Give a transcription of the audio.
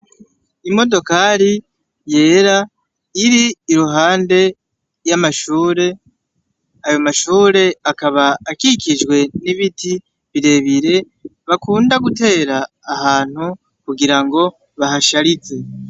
imodokari yera iri iruhande y'amashure ayo mashure akaba akikijwe n'ibiti birebire bakunda gutera ahantu kugira ngo bahasharize